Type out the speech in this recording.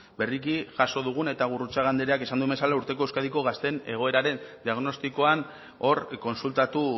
berriki jaso dugun eta gurrutxaga andreak esan duen bezala urteko euskadiko gazteen egoeraren diagnostikoan hor kontsultatu